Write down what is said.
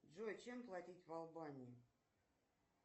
джой чем платить в албании